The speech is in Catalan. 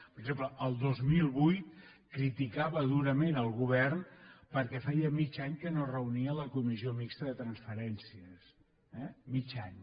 per exemple el dos mil vuit criticava durament el govern perquè feia mig any que no es reunia la comissió mixta de transferències eh mig any